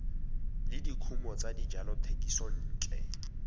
le dikumo tsa dijalo thekisontle